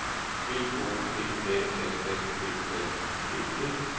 B O P Æ L S P L I G T